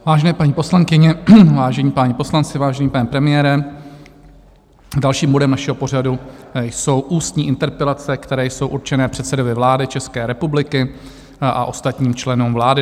Vážené paní poslankyně, vážení páni poslanci, vážený pane premiére, dalším bodem našeho pořadu jsou ústní interpelace, které jsou určené předsedovi vlády České republiky a ostatním členům vlády.